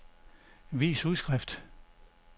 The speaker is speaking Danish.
vis udskrift